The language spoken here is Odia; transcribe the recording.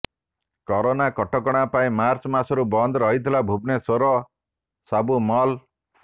କରୋନା କଟକଣା ପାଇଁ ମାର୍ଚ୍ଚ ମାସରୁ ବନ୍ଦ ରହିଥିଲା ଭୁବନେଶ୍ୱରର ସବୁ ମଲ୍